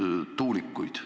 Head Riigikogu liikmed!